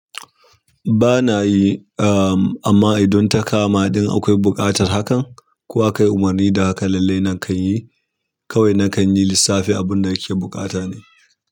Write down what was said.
Ba na yi, am amma idan ta kama, idan akwai buƙatar hakan, ko akai umarni da haka lallai nan kan yi, kawai na kan yi lissafi abin da yake buƙata ne.